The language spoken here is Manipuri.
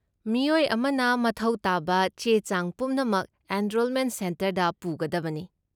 ꯃꯤꯑꯣꯏ ꯑꯃꯅ ꯃꯊꯧ ꯇꯥꯕ ꯆꯦ ꯆꯥꯡ ꯄꯨꯝꯅꯃꯛ ꯑꯦꯟꯔꯣꯜꯃꯦꯟ ꯁꯦꯟꯇꯔꯗ ꯄꯨꯒꯗꯕꯅꯤ꯫